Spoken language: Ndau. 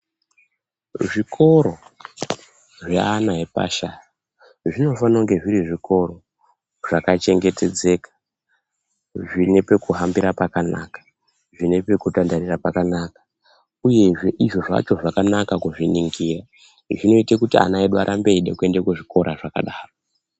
Zvikoro zveana epashi aya zvinofana kunge zviri zvikoro zvakachengetedzeka zvine pekuhambira pakanaka zvine pekutandarira pakanaka uyezve izvo zvacho zvakanaka kuzviningira zvinoite kuti ana edu arambe eida kuenda kuzvikoro zvakadaro.